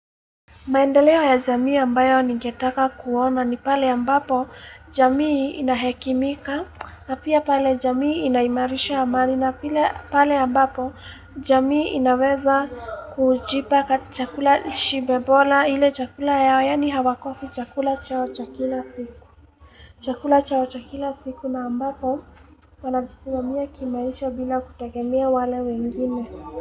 Maendelewo ya jamii ambayo nigetaka kuona ni pale ambapo jamii inahekimika na pia pale jamii inaimarisha amani na pale ambapo jamii inaweza kujipa kati chakula shibebola hile chakula yao yaani hawakosi chakula chao cha kila siku. Chakula chao cha kila siku na ambapo wanajisimamia kimaisha bila kutegemea wale wengine.